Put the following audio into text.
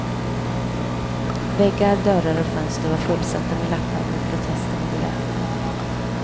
Väggar, dörrar och fönster var fullsatta med lappar med protester mot vräkningen.